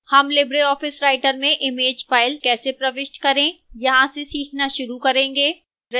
हम Libre Office writer में image file कैसे प्रविष्ट करें यहां से सीखना शुरू करेंगे